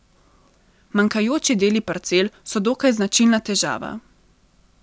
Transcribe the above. Manjkajoči deli parcel so dokaj značilna težava.